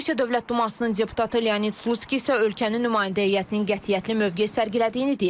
Rusiya Dövlət Dumasının deputatı Leonid Slutskiy isə ölkənin nümayəndə heyətinin qətiyyətli mövqe sərgilədiyini deyib.